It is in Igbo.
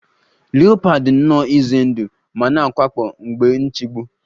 Leopard dị nnọọ ize ndụ ma na-awakpo mgbe nchegbu